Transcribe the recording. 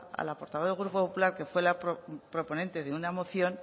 a la portavoz del grupo popular que fue la proponente de una moción